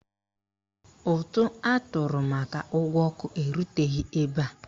Ụtụ atụrụ maka ụgwọ ọkụ eruteghi ebe a.